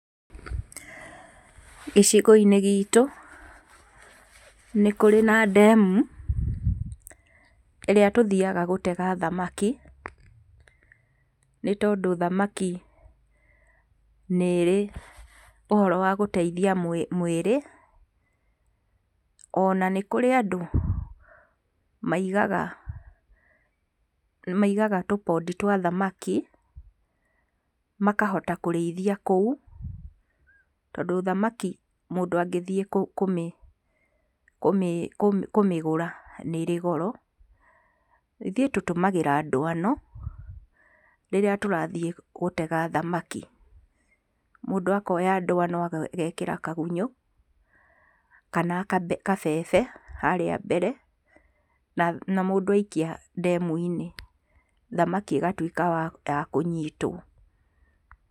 Gicigo-inĩ gitũ, nĩkũrĩ na ndemu, ĩrĩa tũthiga gũtega thamaki, nĩ tondũ thamaki nĩ ĩrĩ ũhoro wa gũteithia mwĩrĩ, ona nĩkũrĩ andũ maigaga tũpoti twa thamaki, makahota kũrĩithia kũu, tondũ thamaki mũndũ angĩthiĩ kũmĩgũra nĩrĩ goro. Ithuĩ tũtũmagĩra nduano rĩrĩa tũrathiĩ gũtega thamaki. Mũndũ akoya ndwano agekĩra kagunyũ, kana kabebe harĩa mbere, na mũndũ aikia ndemu-inĩ, thamaki igatuĩka yakũnyitwo.